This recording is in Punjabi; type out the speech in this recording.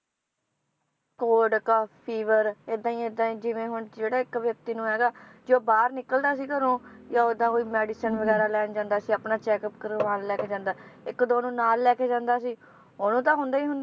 Cold cough fever, ਏਦਾਂ ਈ ਏਦਾਂ ਈ ਜਿਵੇ ਹੁਣ ਜਿਹੜਾ ਇੱਕ ਵਿਅਕਤੀ ਨੂੰ ਹੈਗਾ, ਜੇ ਉਹ ਬਾਹਰ ਨਿਕਲਦਾ ਸੀ ਘਰੋਂ, ਜਾਂ ਓਦਾਂ ਕੋਈ medicine ਵਗੈਰਾ ਲੈਣ ਜਾਂਦਾ ਸੀ ਆਪਣਾ checkup ਕਰਵਾਣ ਲੈਕੇ ਜਾਂਦਾ, ਇੱਕ ਦੋ ਨੂੰ ਨਾਲ ਲੈਕੇ ਜਾਂਦਾ ਸੀ ਓਹਨੂੰ ਤਾਂ ਹੁੰਦਾ ਈ ਹੁੰਦਾ